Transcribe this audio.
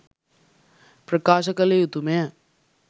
ප්‍රකාශ කළ යුතු ම ය